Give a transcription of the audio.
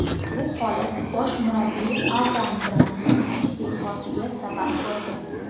Bu holat bosh murabbiy Avraam Grantning iste’fosiga sabab bo‘ldi.